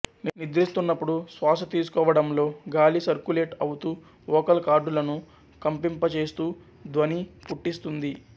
నిద్రిస్తున్నపుడు శ్వాసతీసుకోవడంలో గాలి సర్కులేట్ అవుతూ ఓకల్ కార్డులను కంపింప చేస్తూ ధ్వని పుట్టిస్తుంది